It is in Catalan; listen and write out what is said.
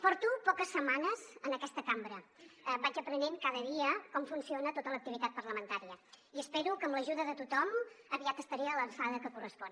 porto poques setmanes en aquesta cambra vaig aprenent cada dia com funciona tota l’activitat parlamentària i espero que amb l’ajuda de tothom aviat estaré a l’alçada que correspon